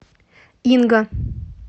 инга